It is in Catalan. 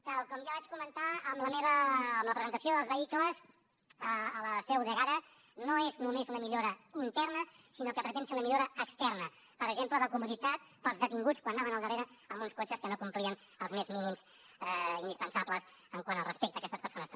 tal com ja vaig comentar en la presentació dels vehicles a la seu d’ègara no és només una millora interna sinó que pretén ser una millora externa per exemple de comoditat per als detinguts quan anaven al darrere amb uns cotxes que no complien els més mínims indispensables quant al respecte a aquestes persones també